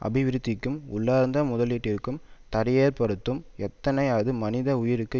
அபிவிருத்திக்கும் உள்ளார்ந்த முதலீட்டிற்கும் தடையேற்படுத்தும் எதனையும் அது மனித உயிருக்கு